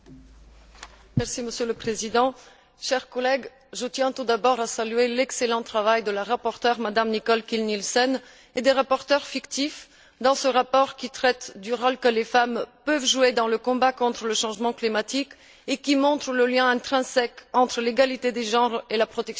Monsieur le Président, chers collègues, je tiens tout d'abord à saluer l'excellent travail de la rapporteure, Mme Kiil Nielsen, et des rapporteurs fictifs sur ce rapport qui traite du rôle que les femmes peuvent jouer dans le combat contre le changement climatique, et qui montre le lien intrinsèque entre l'égalité des genres et la protection de l'environnement.